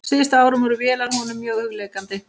Síðustu árin voru vélar honum mjög hugleiknar.